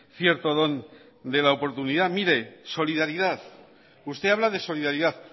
cierto don de la oportunidad mire solidaridad usted habla de solidaridad